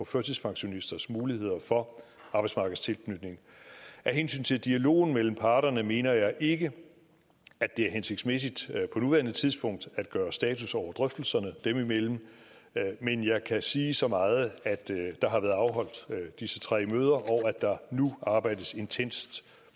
førtidspensionisters mulighed for arbejdsmarkedstilknytning af hensyn til dialogen mellem parterne mener jeg ikke at det er hensigtsmæssigt på nuværende tidspunkt at gøre status over drøftelserne dem imellem men jeg kan sige så meget at der har været afholdt disse tre møder og at der nu arbejdes intenst